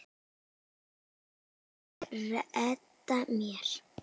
En ég redda mér.